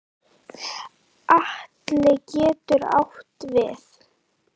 Atli getur átt við